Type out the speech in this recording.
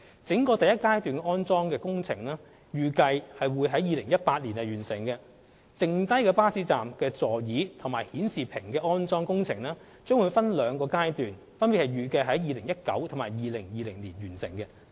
整個第一階段安裝工程預計將於2018年完成。至於餘下的巴士站座椅及顯示屏安裝工程，將會分兩個階段並預計於2019年及2020年完成。